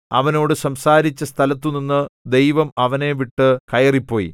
അവനോട് സംസാരിച്ച സ്ഥലത്തുനിന്ന് ദൈവം അവനെ വിട്ടു കയറിപ്പോയി